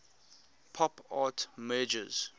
pop art merges